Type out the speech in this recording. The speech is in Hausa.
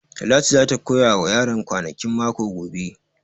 Talatu za ta koya wa yaran kwanakin mako gobe